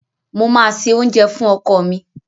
Mo máa se oúnjẹ fún ọkọ mi.